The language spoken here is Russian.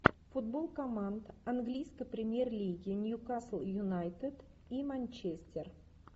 футбол команд английской премьер лиги ньюкасл юнайтед и манчестер